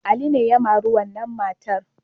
Ali ne ya mari wannan matar.